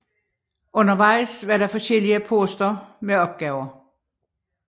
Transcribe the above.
Undervejs var der forskellige poster med opgaver